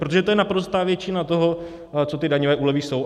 Protože to je naprostá většina toho, co ty daňové úlevy jsou.